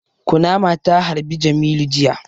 Kunama ta harbi jamilu jiya